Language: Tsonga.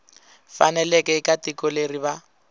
faneleke eka tiko leri va